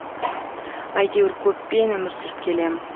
әйтеуір көппен өмір сүріп келем